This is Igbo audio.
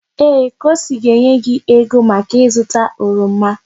Ee! Kosi ga-enye gị ego maka ịzụta oroma.